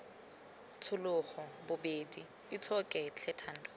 tshologa bobeding itshoke tlhe thando